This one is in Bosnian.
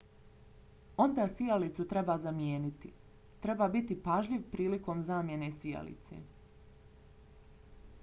onda sijalicu treba zamijeniti. treba biti pažljiv prilikom zamjene sijalice